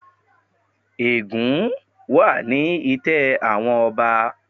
Ègún wà ni itẹ́ àwọn ọba.